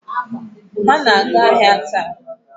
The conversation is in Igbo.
Ha na-aga ahịa taa.